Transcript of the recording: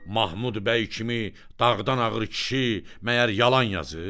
Mahmud bəy kimi dağdan ağır kişi məyər yalan yazır?